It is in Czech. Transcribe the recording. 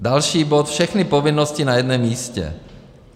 Další bod, všechny povinnosti na jednom místě.